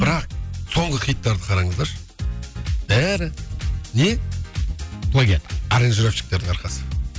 бірақ соңғы хиттарды қараңыздаршы бәрі не плагиат аранжировщиктердің арқасы